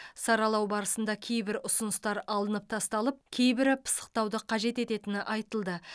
саралау барысында кейбір ұсыныстар алынып тасталып кейбірі пысықтауды қажет ететіні айтылды